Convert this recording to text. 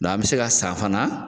an be se ka san fana